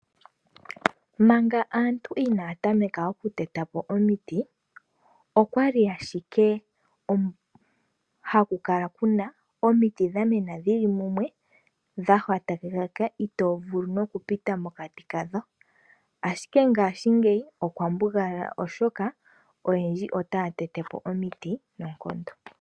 Manga aantu ina ya tameka oku tetapo omiti, okwa li ashike haku kala omiti dha mena shili mumwe, dha hwata, itoo vulu noku pita mokati kadho. Ashike ngaashingeyi, okwa mbugala oshoka oyendji ota ya tetepo omiti noonkondo.